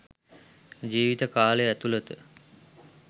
ජීවිත කාලය ඇතුලත